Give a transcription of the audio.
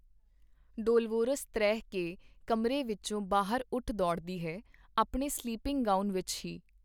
Dolores ਤ੍ਰਹਿ ਕੇ ਕਮਰੇ ਵਿਚੋਂ ਬਾਹਰ ਉੱਠ ਦੌੜਦੀ ਹੈ, ਆਪਣੇ ਸਲੀਪਿੰਗ ਗਾਊਨ ਵਿਚ ਹੀ.